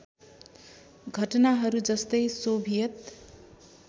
घटनाहरू जस्तै सोभियत